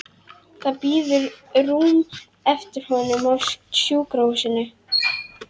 Það bíður rúm eftir honum á sjúkrahúsinu.